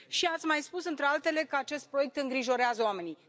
Și, ați mai spus, printre altele, că acest proiect îngrijorează oamenii.